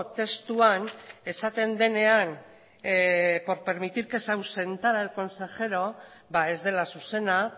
testuan esaten denean por permitir que se ausentara el consejero ba ez dela zuzena